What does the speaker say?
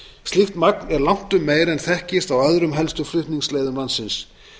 slíkt magn er langtum meira en þekkist á öðrum helstu flutningsleiðum landsins